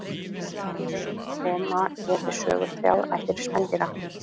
Í reynd koma hér við sögu þrjár ættir spendýra.